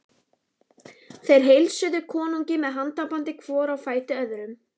Þeir heilsuðu konungi með handabandi hvor á fætur öðrum.